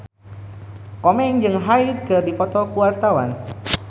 Komeng jeung Hyde keur dipoto ku wartawan